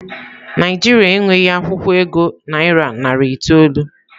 Naijiria e nweghi akwukwo ego naira narị itoolu.